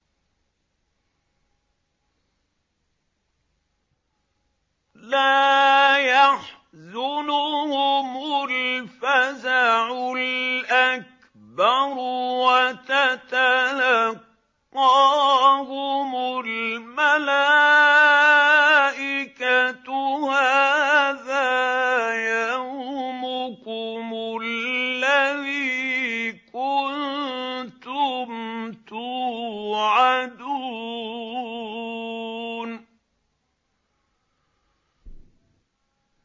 لَا يَحْزُنُهُمُ الْفَزَعُ الْأَكْبَرُ وَتَتَلَقَّاهُمُ الْمَلَائِكَةُ هَٰذَا يَوْمُكُمُ الَّذِي كُنتُمْ تُوعَدُونَ